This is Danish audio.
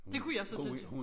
Du kunne jeg så til